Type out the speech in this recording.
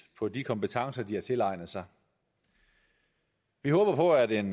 på de kompetencer de har tilegnet sig vi håber at en